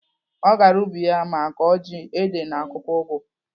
Ọ gara ubi ya ma kọọ ji, ede na akwụkwọ ụgụ.